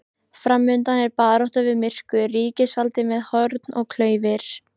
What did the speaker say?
Framundan er barátta við myrkur, ríkisvald með horn og klaufir.